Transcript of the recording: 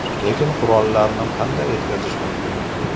Lekin qurollarni qanday yetkazish mumkin?